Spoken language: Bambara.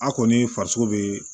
A kɔni farisogo be